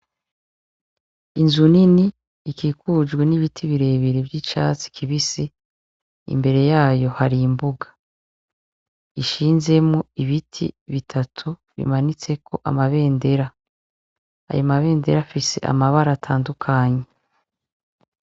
Inzu nini ikikujwe n' ibiti bire bire vy' icatsi kibisi imbere yayo hari imbuga ishinzemwo ibiti bitatu bimanitseko amabendera ayo ma bendera afise amabara atandukanye.